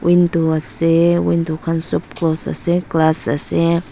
windu ase windu khan sob close ase glass ase.